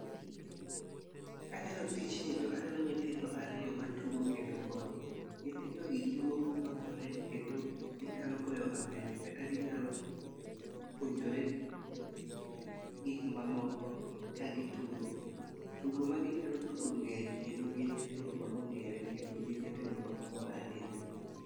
Kaneno tijni to aneno nyithindo ariyo matugo kendo mor .Nyithindo gi tugo ka makore kendo ginyalo goyo amen kata ginyalo puonjore gik mamoko ka gitugo. Tugo ma ginyalo tugo ng'eny kendo gin nyithindo ma ong'ere kendo gin nyithindo ma omor ahinya.